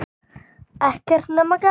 Ekkert nema gaman!